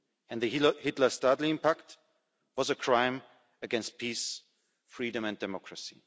The Hitler-Stalin Pact was a crime against peace, freedom and democracy.